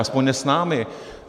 Aspoň ne s námi.